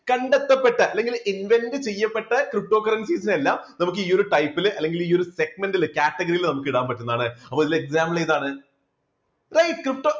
കണ്ടെത്തപ്പെട്ട അല്ലെങ്കിൽ invent ചെയ്യപ്പെട്ട ptocurrencies നെ എല്ലാം നമുക്ക് ഈയൊരു type ല് അല്ലെങ്കിൽ segment ല് category നമുക്ക് ഇടാൻ പറ്റുന്നതാണ് അപ്പോ ഇതിന് example ഏതാണ്